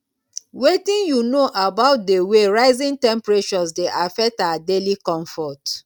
wetin you know about di way rising temperatures dey affect our daily comfort